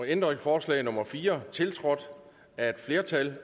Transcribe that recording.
ændringsforslag nummer fire tiltrådt af et flertal